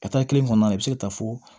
Ka taa kelen kɔnɔna la i bɛ se ka taa fo